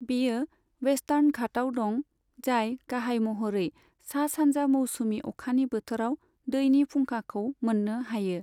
बेयो वेसतार्न घाटआव दं, जाय गाहाय महरै सा सानजा मौसुमि अखानि बोथोराव दैनि फुंखाखौ मोन्नो हायो।